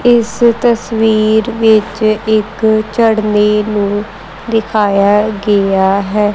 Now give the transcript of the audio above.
ਇਸ ਤਸਵੀਰ ਵਿੱਚ ਇੱਕ ਝਰਨੇ ਨੂੰ ਦਿਖਾਇਆ ਗਿਆ ਹੈ।